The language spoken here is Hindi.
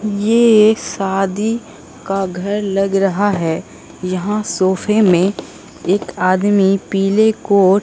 ये एक शादी का घर लग रहा हैं यहां सोफे में एक आदमी पीले कोट --